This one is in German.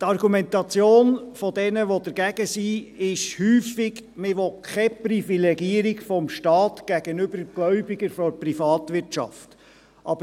– Die Argumentation derjenigen, die dagegen sind, besteht häufig darin, dass man keine Privilegierung des Staates gegenüber Gläubigern aus der Privatwirtschaft haben wolle.